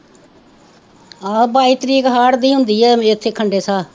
ਆਹੋ ਬਾਈ ਤਾਰੀਖ ਹਾੜ ਦੀ ਹੁੰਦੀ ਹੈ ਇੱਥੇ ਖੰਡੇ ਸ਼ਾਹ